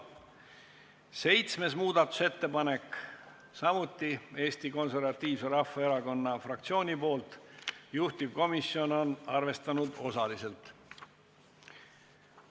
7. muudatusettepanek on samuti Eesti Konservatiivse Rahvaerakonna fraktsioonilt, juhtivkomisjon on seda arvestanud osaliselt.